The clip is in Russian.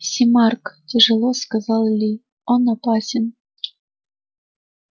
сермак тяжело сказал ли он опасен